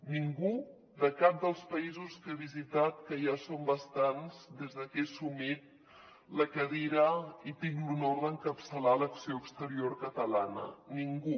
ningú de cap dels països que he visitat que ja són bastants des de que he assumit la cadira i tinc l’honor d’encapçalar l’acció exterior catalana ningú